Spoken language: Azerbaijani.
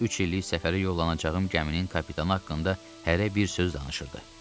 Üç illik səfərə yollanacağım gəminin kapitanı haqqında hərə bir söz danışırdı.